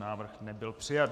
Návrh nebyl přijat.